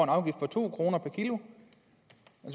afgift på to kroner per kilo